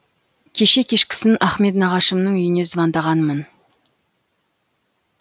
кеше кешкісін ахмет нағашымның үйіне звондағанмын